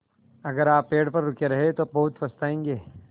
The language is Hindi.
अगर आप पेड़ पर रुके रहे तो बहुत पछताएँगे